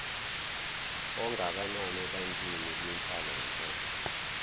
ongakanani ebantwini kwinhlalonhle